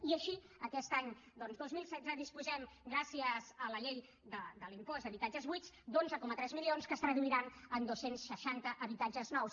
i així aquest any doncs dos mil setze disposem gràcies a la llei de l’impost d’habitatges buits d’onze coma tres milions que es traduiran en dos cents i seixanta habitatges nous